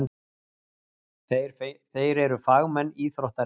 Þeir eru fagmenn íþróttarinnar.